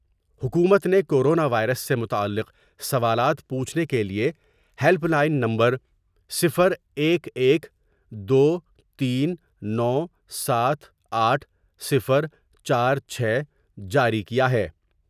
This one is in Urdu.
حکومت نے کورونا وائرس سے متعلق سوالات پوچھنے کے لئے ہیلپ لائن نمبر صفر ایک ایک دو تین نو ساتھ آٹھ صفر چار چھ جاری کیا ہے ۔